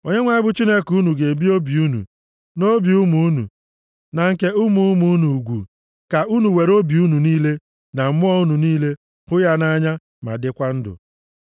Onyenwe anyị bụ Chineke unu ga-ebi obi unu, na obi ụmụ unu, na nke ụmụ ụmụ unu ugwu, ka unu were obi unu niile na mmụọ unu niile, hụ ya nʼanya, ma dịkwa ndụ.